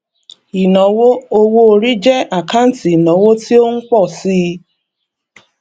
ìnáwó owóorí jẹ àkáǹtì ìnáwó tí ó ń pọ síi